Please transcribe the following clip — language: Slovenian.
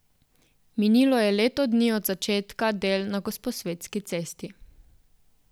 Minilo je leto dni od začetka del na Gosposvetski cesti.